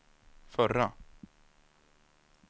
förra